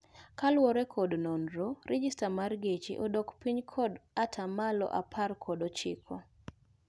Kalure kod nonro, rejesta mar geche odok piny kod ataa malo apar kod ochiko